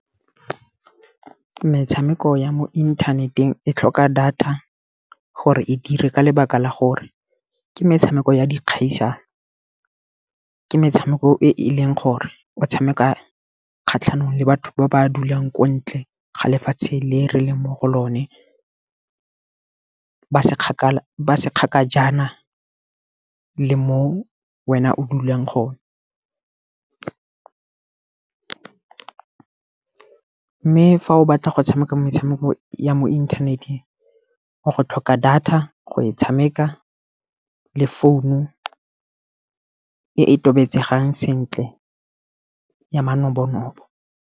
Metshameko ya mo inthaneteng e tlhoka data gore e dire, ka lebaka la gore ke metshameko ya dikgaisano. Ke metshameko e e leng gore o tshameka kgatlhanong le batho ba ba dulang ko ntle ga lefatshe le re leng mo go lone. Ba se kgakajana le mo wena o dulang gone. Mme fa o batla go tshameka metshameko ya mo inthaneteng o go tlhoka data, go e tshameka le phone-u e tobetsegang sentle ya manobonobo.